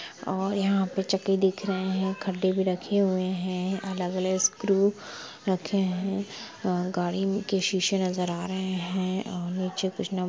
--और यहां पे चक्की दिख रहे हैं खड्डे भी रखे हुए हैं अलग-अलग स्क्रू रखे हैं और गाड़ी के शीशे नजर आ रहे हैं और अच्छे--